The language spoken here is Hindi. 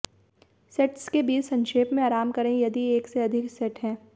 सेट्स के बीच संक्षेप में आराम करें यदि एक से अधिक सेट हैं